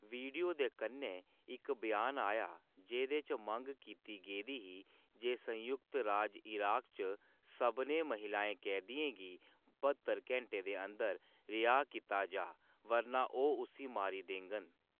Video दे कन्नै इक ब्यान आया जेह्‌‌‌दे च मंग कीती गेदी ही जे संयुक्त राज इराक़ च सभनें महिला कैदियें गी ब्हत्तर घैंटें दे अंदर रिहाऽ कीता जाऽ बरना ओह्‌‌ उस्सी मारी देङन।